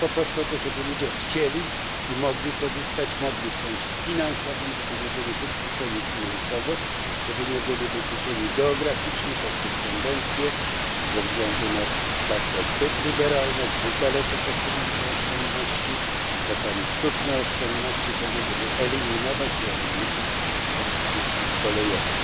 Chodzi po prostu o to, żeby ludzie chcieli i mogli korzystać z kolei w sensie finansowym, żeby nie byli wykluczeni finansowo, żeby nie byli wykluczeni geograficznie poprzez tendencje ze względu na zbyt liberalne hasła, zbyt daleko posunięte, czasami sztuczne, oszczędności do tego, żeby eliminować i ograniczać dostęp do usług kolejowych.